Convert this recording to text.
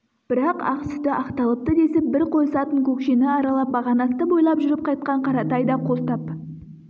бірақ ақ сүті ақталыпты десіп бір қойысатын көкшені аралап бақанасты бойлап жүріп қайтқан қаратай да қостап